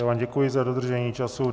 Já vám děkuji za dodržení času.